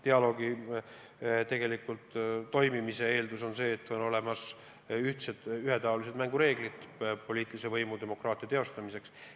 Dialoogi toimimise eeldus on see, et kehtivad ühetaolised mängureeglid poliitilise võimu, demokraatia teostamiseks.